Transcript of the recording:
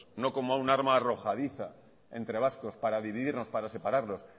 no como un arma arrojadiza entre vascos para dividirnos para separarnos